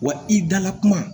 Wa i dala kuma